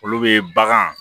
Olu be bagan